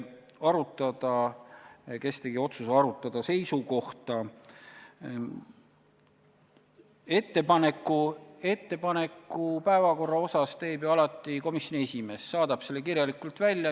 Aga mis puudutab küsimust, kes tegi otsuse arutada seisukohta, siis ettepaneku päevakorra osas teeb ju alati komisjoni esimees ja ta saadab selle kirjalikult välja.